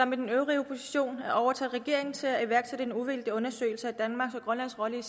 med den øvrige opposition at overtale regeringen til at iværksætte en uvildig undersøgelse af danmarks og grønlands rolle